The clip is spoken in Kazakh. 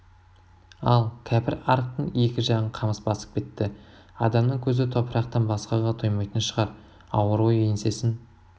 ал кәпірарықтың екі жағын қамыс басып кетті адамның көзі топырақтан басқаға тоймайтын шығар ауыр ой еңсесін